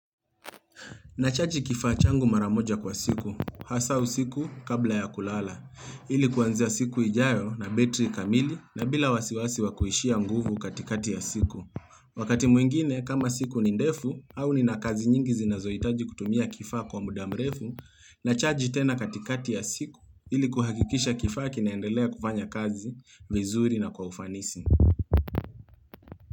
Nachaji kifaa changu mara moja kwa siku, hasa usiku kabla ya kulala, ilikuanzia siku ijayo nabetri kamili na bila wasiwasi wa kuishiwa nguvu katikati ya siku. Wakati mwingine, kama siku nindefu au nina kazi nyingi zinazoitaji kutumia kifaa kwa mudamrefu, nachaji tena katikati ya siku iliku hakikisha kifaa kinaendelea kufanya kazi, vizuri na kwa ufanisi.